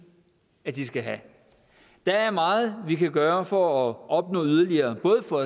de skal have der er meget vi kan gøre for at opnå yderligere både for